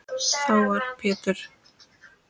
Þá var Pétur